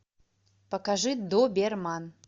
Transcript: покажи доберман